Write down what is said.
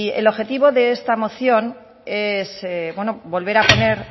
el objetivo de esta moción es volver a poner